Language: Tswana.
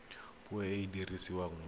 puo e e dirisiwang mo